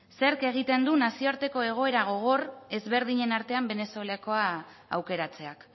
zerk egiten du nazioarteko egoera gogor ezberdinen artean venezuelakoa aukeratzeak